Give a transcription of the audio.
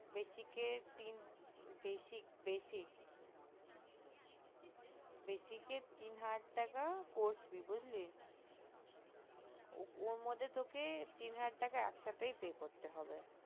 basic এ তিন basic basic basic তিন হাজার টাকা course বুজলি ওর মধ্যে তোকে তিন হাজার টাকা একসাথেই pay করতে হবে